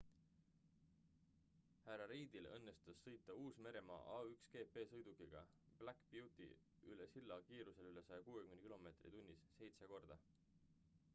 hr reidil õnnestus sõita uus-meremaa a1gp-sõidukiga black beauty üle silla kiirustel üle 160 km/h seitse korda